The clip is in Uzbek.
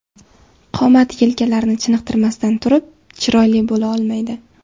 Qomat yelkalarni chiniqtirmasdan turib chiroyli bo‘la olmaydi.